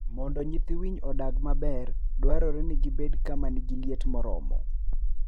Mondo nyithii winy odongi maber, dwarore ni gibed kama ni gi liet moromo.